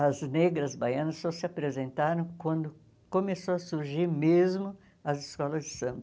As negras baianas só se apresentaram quando começou a surgir mesmo as escolas de samba.